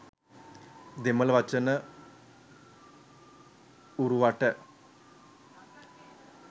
දෙමළ වචන ඌරුවට